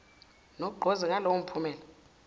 nogqozi ngalowo mphumela